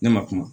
Ne ma kuma